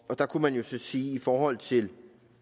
og der kunne man jo så sige i forhold til